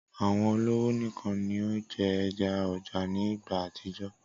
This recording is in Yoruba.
Awọn ọlọwo nikan ni o jẹ ẹja ọja ni igba atijọ.